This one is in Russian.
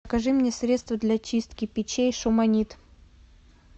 закажи мне средство для чистки печей шуманит